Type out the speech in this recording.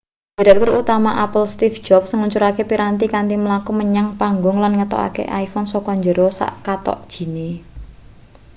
direktur utama apple steeve jobs ngluncurake piranti kanthi mlaku menyang panggung lan ngetokake iphone saka njero sak kathok jine